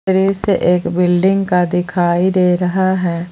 दृश्य एक बिल्डिंग का दिखाई दे रहा है।